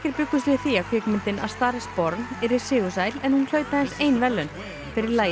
bjuggust við því að kvikmyndin a star is yrði sigursæl en hún hlaut aðeins ein verðlaun fyrir lagið